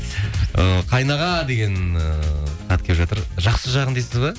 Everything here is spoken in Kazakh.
ы қайын аға деген ыыы хат келіп жатыр жақсы жағын дейсіз бе